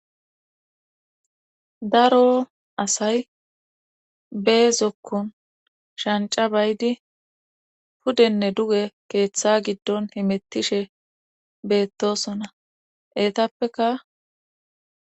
Daro asay bee zokkon shanca baydi pudenne duge keeththa giddon himittishe beettosona eetappeka.